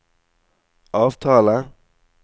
avtale